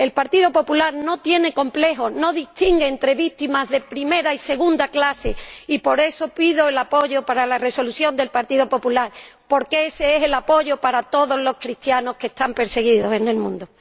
El Partido Popular no tiene complejos, no distingue entre víctimas de primera y segunda clase, y por eso pido el apoyo para la Resolución del Partido Popular, porque ese es el apoyo para todos los cristianos que están perseguidos en el mundo.